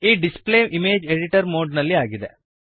ಈ display image editor mode ನಲ್ಲಿ ಆಗಿದೆ